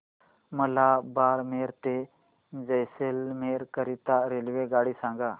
मला बारमेर ते जैसलमेर करीता रेल्वेगाडी सांगा